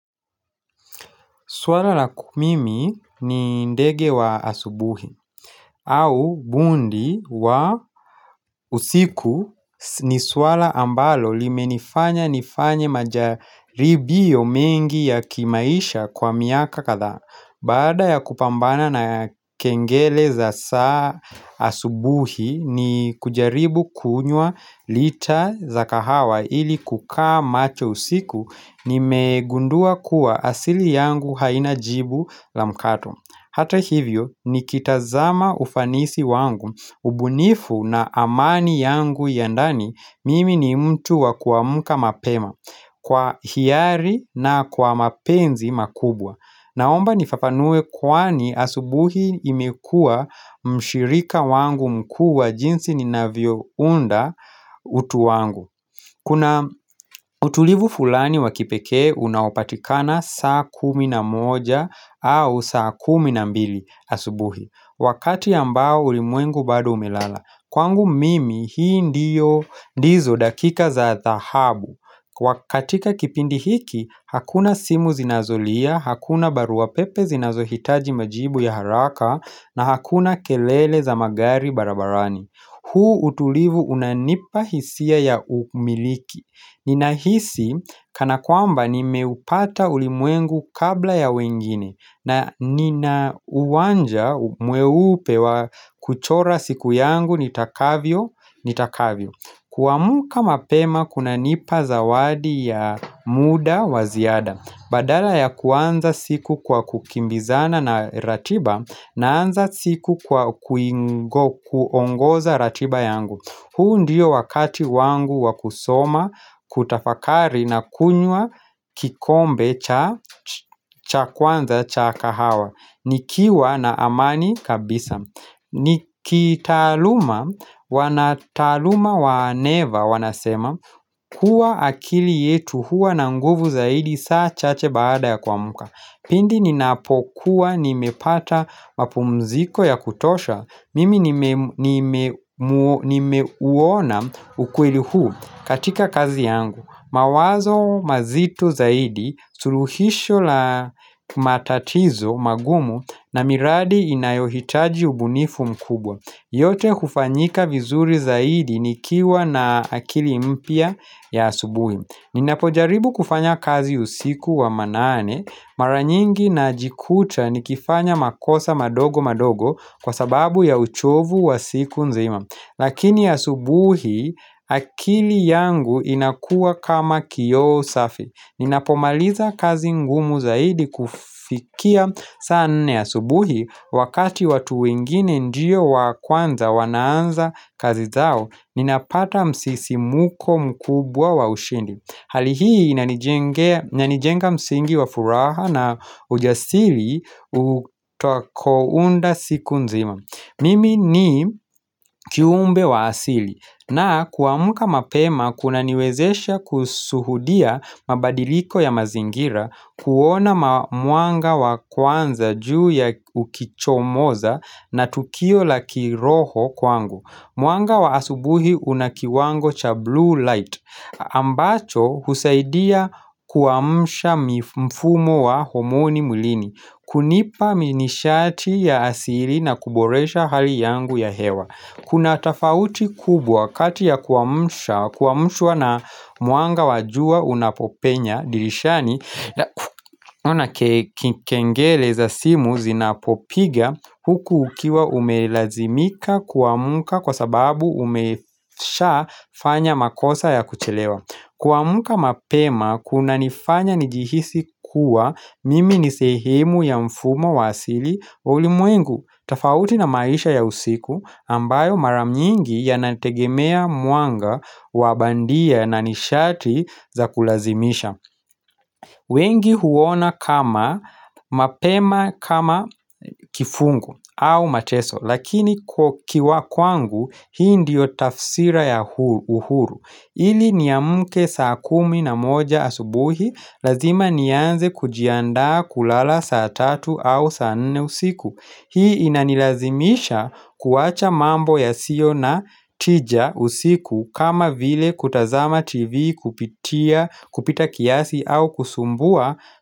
Swala la kumimi ni ndege wa asubuhi au bundi wa usiku ni swala ambalo li menifanya nifanya majaribi yo mengi ya kimaisha kwa miaka kadhaa Bada ya kupambana na kengele za saa asubuhi ni kujaribu kunywa lita za kahawa ili kukaa macho usiku ni megundua kuwa asili yangu haina jibu la mkato. Hata hivyo ni kitazama ufanisi wangu, ubunifu na amani yangu yandani mimi ni mtu wa kuamuka mapema kwa hiari na kwa mapenzi makubwa. Naomba nifafanue kwani asubuhi imekua mshirika wangu mkuu wa jinsi ni ninavyo unda utu wangu Kuna utulivu fulani wakipeke unaopatikana saa kumi na moja au saa kumi na mbili asubuhi Wakati ambao ulimwengu bado umelala Kwangu mimi hii ndiyo ndizo dakika za dhahabu katika kipindi hiki, hakuna simu zinazolia, hakuna baruapepe zinazohitaji majibu ya haraka na hakuna kelele za magari barabarani Hu utulivu unanipa hisia ya umiliki Nina hisi kana kwamba ni meupata ulimwengu kabla ya wengine na nina uwanja mweupe wa kuchora siku yangu nitakavyo ni takavyo kuamuka mapema kuna nipa zawadi ya muda waziada Badala ya kuanza siku kwa kukimbizana na ratiba Naanza siku kwa kuongoza ratiba yangu huu ndiyo wakati wangu wakusoma Kutafakari na kunywa kikombe cha kwanza cha kahawa Nikiwa na amani kabisa ni kitaluma, wanataluma waneva wanasema kuwa akili yetu huwa na nguvu zaidi saa chache baada ya kwa muka Pindi ninapokuwa nimepata mapumziko ya kutosha Mimi nimewona ukweli huu katika kazi yangu mawazo mazito zaidi suruhisho la matatizo magumu na miradi inayohitaji ubunifu mkubwa yote hufanyika vizuri zaidi nikiwa na akili mpya ya asubuhi Ninapojaribu kufanya kazi usiku wa manane Maranyingi na jikuta nikifanya makosa madogo madogo Kwa sababu ya uchovu wa siku nzima Lakini asubuhi akili yangu inakua kama kioo safi Ninapomaliza kazi ngumu zaidi kufikia sa nne ya subuhi wakati watu wengine ndiyo wa kwanza wanaanza kazi zao ninapata msisi muko mkubwa wa ushindi. Halihii nyanijenga msingi wa furaha na ujasili utoko unda siku nzima. Mimi ni kiumbe wa asili na kuamuka mapema kuna niwezesha kusuhudia mabadiliko ya mazingira kuona mwanga wa kwanza juu ya ukicho moza na tukio la kiroho kwangu. Mwanga wa asubuhi unakiwango cha blue light ambacho husaidia kuwamusha mfumo wa homoni mulini kunipa minishati ya asili na kuboresha hali yangu ya hewa Kuna atafauti kubwa kati ya kuwamusha Kuwamushwa na mwanga wajua unapopenya dirishani Una kengele za simu zinapopiga Huku ukiwa umelazimika kuamuka kwa sababu umesha fanya makosa ya kuchelewa kuamuka mapema kuna nifanya nijihisi kuwa mimi nisehemu ya mfumo wasili ulimwengu tafauti na maisha ya usiku ambayo maramnyingi ya nategemea mwanga wabandia na nishati za kulazimisha wengi huona kama mapema kama kifungu au mateso lakini kwa kiwa kwangu hii ndio tafsira ya uhuru ili ni ya mke saa kumi na moja asubuhi lazima nianze kujianda kulala saa tatu au saa nne usiku Hii inanilazimisha kuwacha mambo ya sio na tija usiku kama vile kutazama tv kupitia kupita kiasi au kusumbua.